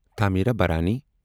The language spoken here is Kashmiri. تھامیرابرانی